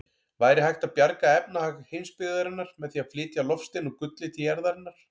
Væri hægt að bjarga efnahag heimsbyggðarinnar með því að flytja loftstein úr gulli til jarðarinnar?